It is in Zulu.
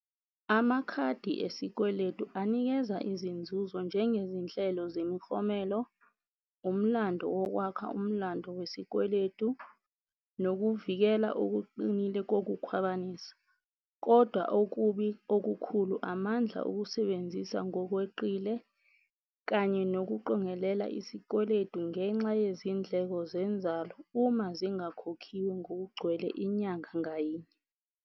Amakhadi esikweletu anikeza izinzuzo njengezinhlelo zemiklomelo, umlando wokwakha umlando wesikweletu, nokuvikela okuqinile kokukhwabanisa. Kodwa okubi okukhulu, amandla okusebenzisa ngokweqile kanye nokuqongelela isikweletu ngenxa yezindleko zenzalo uma zingakhokhiwe ngokugcwele inyanga ngayinye.